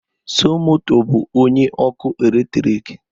Somoto bụ onye ọkụ eletrik